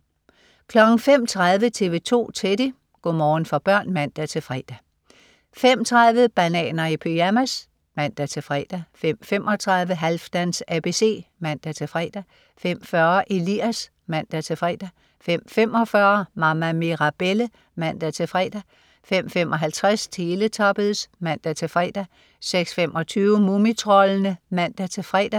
05.30 TV 2 Teddy. Go' morgen for børn (man-fre) 05.30 Bananer i pyjamas (man-fre) 05.35 Halfdans ABC (man-fre) 05.40 Elias (man-fre) 05.45 Mama Mirabelle (man-fre) 05.55 Teletubbies (man-fre) 06.25 Mumitroldene (man-fre)